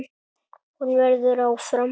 Hún verður áfram.